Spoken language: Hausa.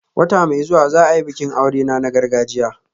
Wata mai zuwa za a yi bikin aurena na gargajiya